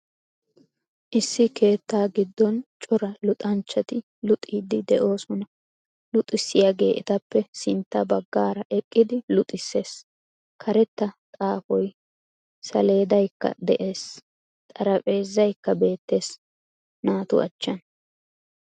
Issi keettaa giddon cora luxxanchchati luxiidi de'oosona. Luxissiyaage etappe sintta baggaara eqqidi luxxisssees, karetta xaafiyo saleedaykka de'ees. Xarphpheezaykka beettees, naatu achchan.